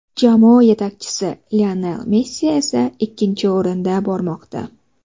Jamoa yetakchisi Lionel Messi esa ikkinchi o‘rinda bormoqda.